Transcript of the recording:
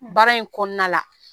Baara in kɔnɔna la